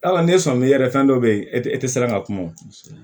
Yala n'e sɔnminna yɛrɛ fɛn dɔ bɛ yen e tɛ e tɛ siran ka kuma o